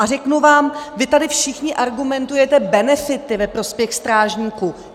A řeknu vám - vy tady všichni argumentujete benefity ve prospěch strážníků.